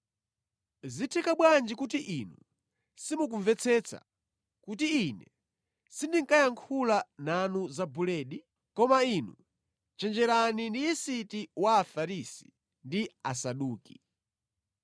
Zitheka bwanji kuti inu simukumvetsetsa kuti Ine sindinkayankhula nanu za buledi? Koma inu chenjerani ndi yisiti wa Afarisi ndi Asaduki.”